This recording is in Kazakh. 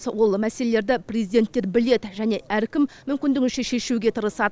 ол мәселелерді президенттер біледі және әркім мүмкіндігінше шешуге тырысады